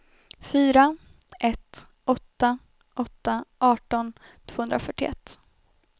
fyra ett åtta åtta arton tvåhundrafyrtioett